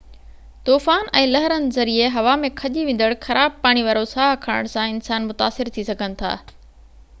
طوفان ۽ لهرن ذريعي هوا ۾ کڄي ويندڙ خراب پاڻي وارو ساهه کڻڻ سان انسان متاثر ٿي سگهن ٿا